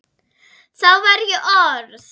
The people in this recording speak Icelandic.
Þá var ég orð